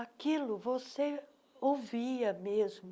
Aquilo você ouvia mesmo.